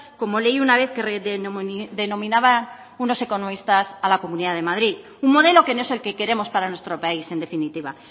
como leí una vez que denominaban unos economistas a la comunidad de madrid un modelo que no es el que queremos para nuestro país en definitiva